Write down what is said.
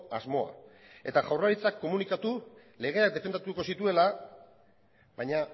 asmoa eta jaurlaritzak komunikatu legeak defendatuko zituela baina